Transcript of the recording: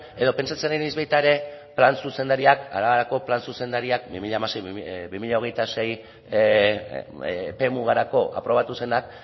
edo pentsatzen ari naiz baita ere plan arabako plan zuzendariak bi mila hamasei bi mila hogeita sei epemugarako aprobatu zenak